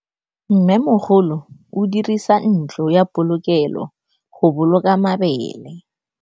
Mmêmogolô o dirisa ntlo ya polokêlô, go boloka mabele.